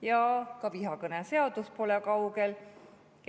Ja ka vihakõne seadus pole kaugel.